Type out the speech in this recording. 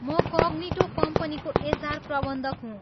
म कग्निटो कम्पनीको एचआर प्रबन्धक हुँ।